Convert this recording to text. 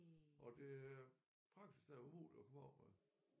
Og det er praktisk talt umuligt at komme af med